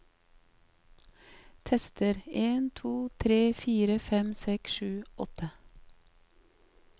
Tester en to tre fire fem seks sju åtte